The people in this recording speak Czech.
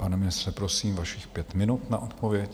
Pane ministře, prosím, vašich pět minut na odpověď.